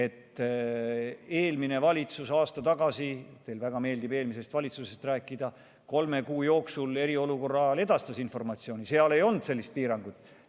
Eelmine valitsus aasta tagasi – teile väga meeldib eelmisest valitsusest rääkida – kolme kuu jooksul eriolukorra ajal edastas informatsiooni, seal ei olnud sellist piirangut.